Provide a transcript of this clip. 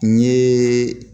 N ye